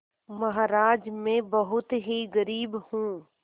महाराज में बहुत ही गरीब हूँ